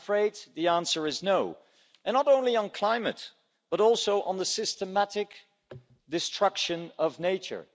I'm afraid the answer is no and not only on climate but also on the systematic destruction of nature.